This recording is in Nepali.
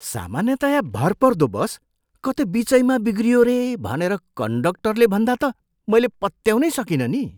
सामान्यतया भरपर्दो बस कतै बिचैमा बिग्रियो रे भनेर कन्डक्टरले भन्दा त मैले पत्याउनै सकिनँ नि!